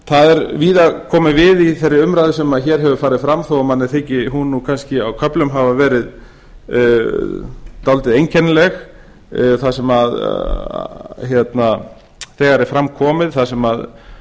það er víða komið við í þeirri umræðu sem hér hefur farið fram þó að mér þyki hún kannski á köflum hafa verið dálítið einkennileg þar sem þegar er fram komið það sem